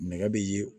Nɛgɛ be ye